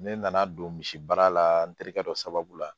Ne nana don misi baara la n terikɛ dɔ sababu la